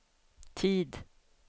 tid